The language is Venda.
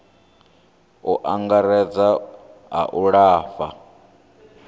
u angaredza a u lafha